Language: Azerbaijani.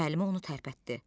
Müəllimə onu tərpətdi.